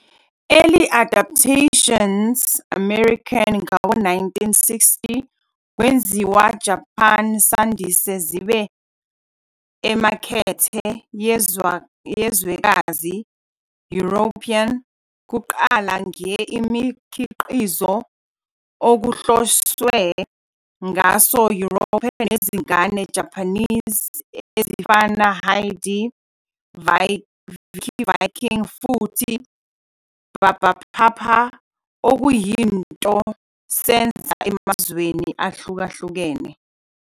Early adaptions American ngawo-1960 kwenziwa Japan sandise zibe emakethe yezwekazi European, kuqala nge imikhiqizo okuhloswe ngaso European nezingane Japanese, ezifana "Heidi", "Vicky Viking" futhi "Barbapapa", okuyinto senza emazweni ahlukahlukene.